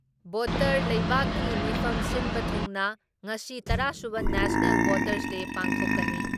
Voter ꯂꯩꯕꯥꯛꯀꯤ ꯃꯐꯝ ꯁꯤꯟꯕ ꯊꯨꯡꯅ ꯉꯁꯤ ꯇꯔꯥ ꯁꯨꯕ ꯅꯦꯁꯅꯦꯜ ꯚꯣꯇꯔꯁ ꯗꯦ ꯄꯥꯡꯊꯣꯛꯀꯅꯤ ꯫